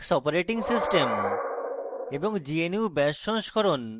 linux operating system